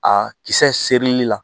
A kisɛ serili la